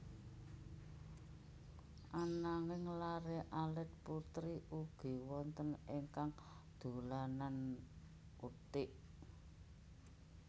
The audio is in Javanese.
Ananging laré alit putri ugi wonten ingkang dolanan uthik